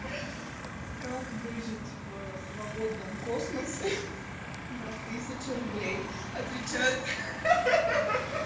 как выжить в свободном космосе ха-ха на тысячу рублей отвечает ха-ха